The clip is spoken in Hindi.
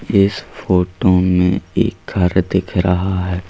इस फोटो में एक घर दिख रहा है।